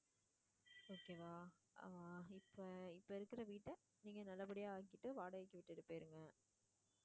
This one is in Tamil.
okay வா ஆஹ் இப்போ இப்போ இருக்குற வீட்ட நீங்க நல்லபடியா ஆக்கிட்டு வாடகைக்கு விட்டுட்டு போயிருங்க.